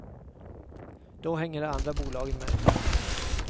Då hänger de andra bolagen med.